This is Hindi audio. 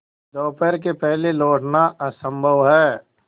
दोपहर के पहले लौटना असंभव है